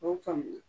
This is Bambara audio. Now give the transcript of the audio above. O y'o faamuya